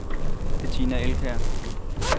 Betina Elkjær